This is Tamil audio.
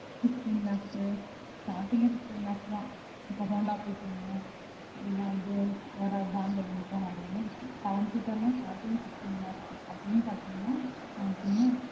fifteen lakhsstarting யே fifteen lakhs தான் இப்போ honda இல்ல வந்து seven seater லா starting யே fifteen lakhs அப்டினு பாத்தீங்கன்னா